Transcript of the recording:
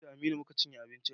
Ni da Aminu mu ka cinye abincin.